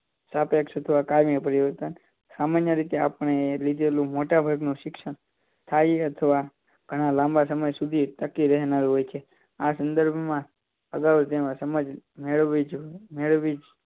સાપેક્ષ અથવા કાયમી પરિવર્તન સામાન્ય રીતે આપણે લીધેલું મોટાભાગનું શિક્ષણ સાથયી અથવા ઘણા લાંબા સમય સુધી ટકી રહેનારું હોય છે આ સંદર્ભમાં આગળ તેમાં સમજ મેળવવી જોઈએ મેળવવી જો